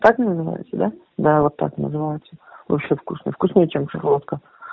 так называется да да вот так называется вообще вкусная вкуснее чем шарлотка